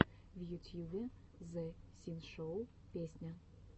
в ютьюбе зэ синшоу песня